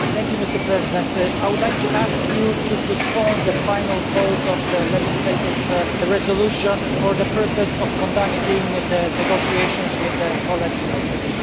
Mr President, I would like to ask you to postpone the final vote on the legislative resolution for the purpose of conducting the negotiations with the co legislators.